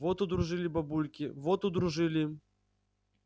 вот удружили бабульки вот удружили